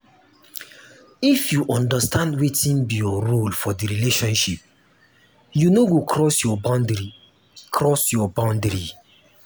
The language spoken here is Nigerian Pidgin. if you understand wetin be your role for di relationship you no go cross your boundary cross your boundary